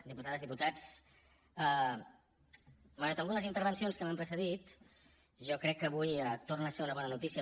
diputades diputats malgrat algunes intervencions que m’han precedit jo crec que avui torna a ser una bona notícia